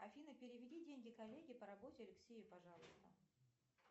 афина переведи деньги коллеге по работе алексею пожалуйста